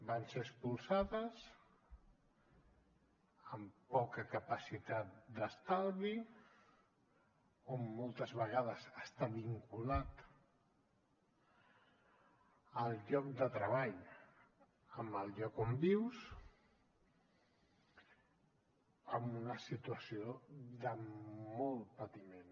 van ser expulsades amb poca capacitat d’estalvi que moltes vegades està vinculat el lloc de treball amb el lloc on vius amb una situació de molt patiment